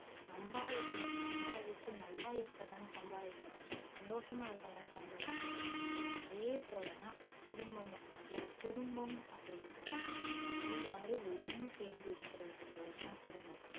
சம்பாதிக்கணும் சம்பாதிச்சி நல்லா இருக்கதான சம்பாரிக்குரோ சந்தோஷமா இருக்கதானே சம்பரிக்குரோ அதே போல தான் குடும்பமும் ஒரு குடும்பம் அப்டின்னா எல்லாரும் ஒன்னு சேந்து இருக்குறதுக்கு பேருதான் குடும்பம்